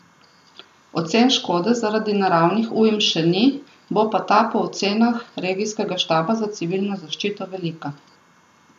Ocen škode zaradi naravnih ujm še ni, bo pa ta po ocenah regijskega štaba za civilno zaščito velika.